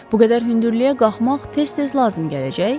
Bu qədər hündürlüyə qalxmaq tez-tez lazım gələcək.